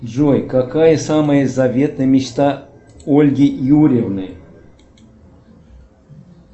джой какая самая заветная мечта ольги юрьевны